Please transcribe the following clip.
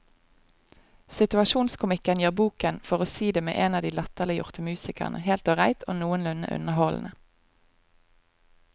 Situasjonskomikken gjør boken, for å si det med en av de latterliggjorte musikerne, helt ålreit og noenlunde underholdende.